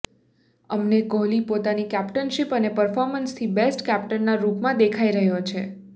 અમને કોહલી પોતાની કેપ્ટનશીપ અને પર્ફોમન્સથી બેસ્ટ કેપ્ટનના રૂપમાં દેખાઇ રહ્યો છે